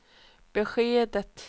beskedet